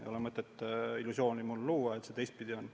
Ei ole mõtet luua illusiooni, et see teistpidi on.